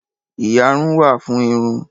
Ìyárún wà fún irun.